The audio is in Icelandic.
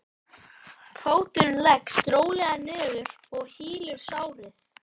Fóturinn leggst rólega niður og hylur sárið.